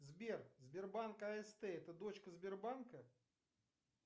сбер сбербанк аст это дочка сбербанка